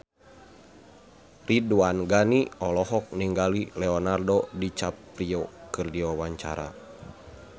Ridwan Ghani olohok ningali Leonardo DiCaprio keur diwawancara